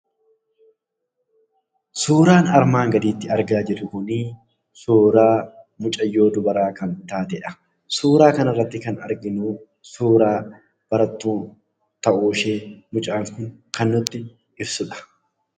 Suuraan armaan gadiitti argaa jirru kun suuraa mucayyoo dubaraa kan taatedha. Suuraa kanarratti kan arginu suuraa barattuu ta'uushee kan nutti ibsudha.